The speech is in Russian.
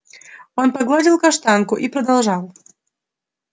он погладил каштанку и продолжал